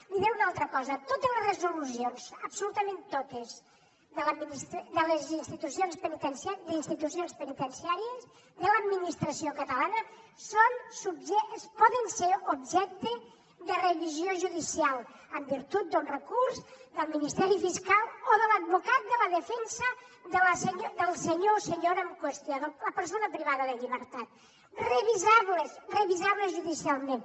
li diré una altra cosa totes les resolucions absolutament totes d’institucions penitenciàries de l’administració catalana poden ser objecte de revisió judicial en virtut d’un recurs del ministeri fiscal o de l’advocat de la defensa del senyor o senyora en qüestió la persona privada de llibertat revisables revisables judicialment